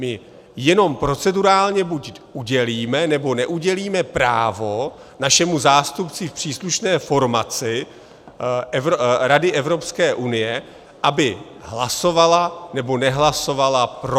My jenom procedurálně buď udělíme, nebo neudělíme právo našemu zástupci v příslušné formaci Rady Evropské unie, aby hlasovala, nebo nehlasovala pro.